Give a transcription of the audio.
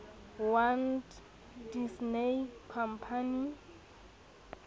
walt disney company